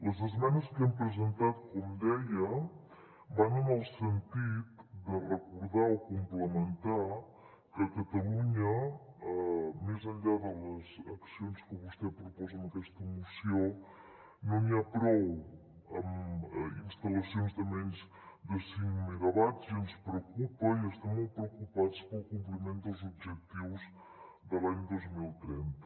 les esmenes que hem presentat com deia van en el sentit de recordar o complementar que a catalunya més enllà de les accions que vostè proposa amb aquesta moció no n’hi ha prou amb instal·lacions de menys de cinc megawatts i ens preocupa i estem molt preocupats pel compliment dels objectius de l’any dos mil trenta